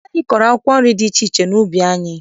Anyị kọrọ akwụkwọ nri dị iche iche n'ubi anyị.